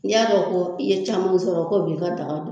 N'i y'a dɔn ko i ye caman sɔrɔ ko b'i ka daga